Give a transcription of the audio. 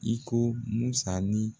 I ko Musa ni